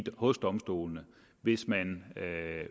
hos domstolene hvis man